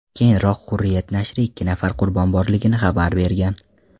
Keyinroq Hurriyet nashri ikki nafar qurbon borligini xabar bergan.